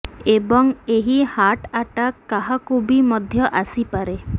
ଏବଂ ଏହି heart attack କାହାକୁ ବି ମଧ୍ୟ ଆସିପାରେ